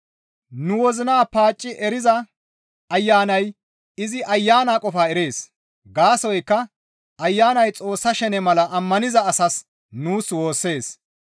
Nu wozina paacci eriza Ayanay izi Ayana qofaa erees; gaasoykka Ayanay Xoossa shene mala ammaniza asaas nuus woossees.